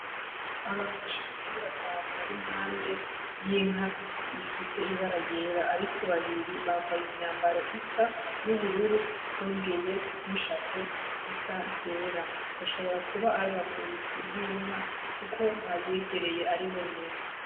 Abantu bashika kuri batanu bari impande y'inka ifise ibara ryera ariko babiri bambaye imyambaro isa y'ubururu bongeye n'ishapo zisa zera bashobora kuba ari abavuzi b'inka kuko bayegereye ari bonyene